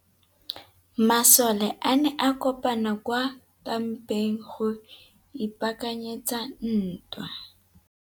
Masole a ne a kopane kwa kampeng go ipaakanyetsa ntwa.